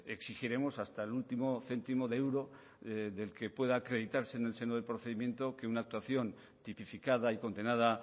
exigiremos hasta el último céntimo de euro del que pueda acreditarse en el seno del procedimiento que una actuación tipificada y condenada